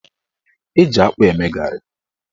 Eji akpụ eme garị.